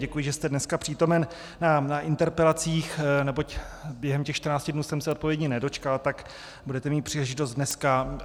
Děkuji, že jste dneska přítomen na interpelacích, neboť během těch 14 dnů jsem se odpovědi nedočkal, tak budete mít příležitost dneska.